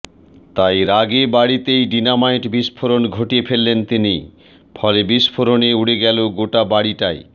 তাই রাগে বাড়িতেই ডিনামাইট বিস্ফোরণ ঘটিয়ে ফেললেন তিনি ফলে বিস্ফোরণে উড়ে গেল গোটা বাড়িটাই